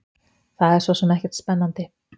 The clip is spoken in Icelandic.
Það er sosum ekkert spennandi.